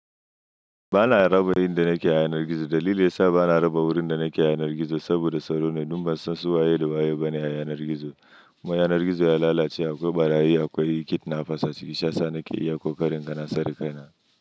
Ba na raba inda nake a yanar gizo. Dalili yasa ba na raba wurin da nake rufe yanar gizo saboda salo ne. Domin ba san su waye da waye bane a haye anargizo. Mu haye anargizo ya lalace akwai ɓarayi, akwai kidnappers, haske sha sani ke iya ƙoƙarin gana sarƙana.